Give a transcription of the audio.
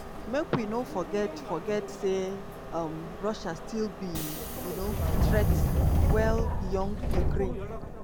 "make we no forget forget say um russia still be um threat well beyond ukraine."